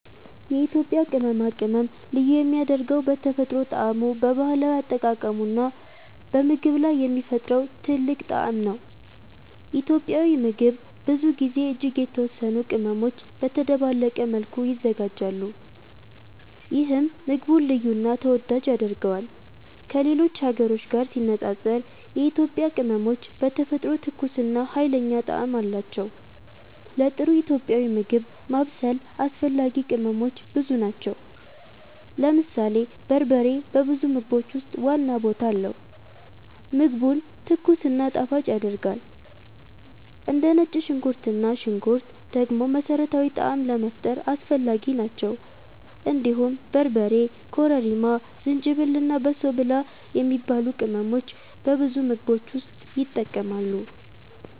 የኢትዮጵያ ቅመማ ቅመም ልዩ የሚያደርገው በተፈጥሮ ጣዕሙ፣ በባህላዊ አጠቃቀሙ እና በምግብ ላይ የሚፈጥረው ጥልቅ ጣዕም ነው። ኢትዮጵያዊ ምግብ ብዙ ጊዜ እጅግ የተወሰኑ ቅመሞች በተደባለቀ መልኩ ይዘጋጃሉ፣ ይህም ምግቡን ልዩ እና ተወዳጅ ያደርገዋል። ከሌሎች ሀገሮች ጋር ሲነጻጸር የኢትዮጵያ ቅመሞች በተፈጥሮ ትኩስ እና ኃይለኛ ጣዕም አላቸው። ለጥሩ ኢትዮጵያዊ ምግብ ማብሰል አስፈላጊ ቅመሞች ብዙ ናቸው። ለምሳሌ በርበሬ በብዙ ምግቦች ውስጥ ዋና ቦታ አለው፣ ምግቡን ትኩስ እና ጣፋጭ ያደርጋል። እንደ ነጭ ሽንኩርት እና ሽንኩርት ደግሞ መሠረታዊ ጣዕም ለመፍጠር አስፈላጊ ናቸው። እንዲሁም በርበሬ፣ ኮረሪማ፣ ዝንጅብል እና በሶ ብላ የሚባሉ ቅመሞች በብዙ ምግቦች ውስጥ ይጠቀማሉ።